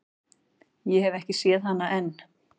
Ég hef ekki séð hana enn.